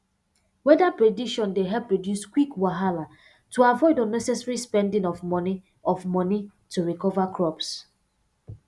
weather prediction dey help reduce quick wahala to avoid unnecessary spending of moni of moni to recover crops